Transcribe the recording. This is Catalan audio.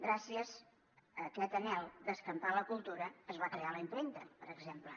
gràcies a aquest anhel d’escampar la cultura es va crear la impremta per exemple